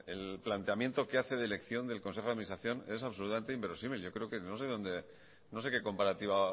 el planteamiento que hace de elección del consejo de administración es absolutamente inverosímil yo creo que no sé qué comparativa